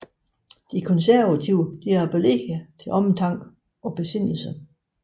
De konservative appellerede til omtanke og besindelse